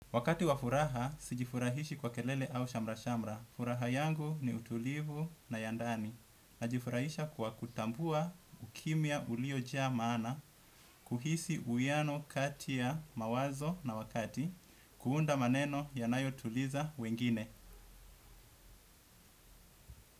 Wakati wa furaha, sijifurahishi kwa kelele au shamra-shamra. Furaha yangu ni utulivu na yandani. Najifurahisha kwa kutambua ukimya ulioja maana, kuhisi uwiano kati ya mawazo na wakati, kuunda maneno yanayo tuliza wengine.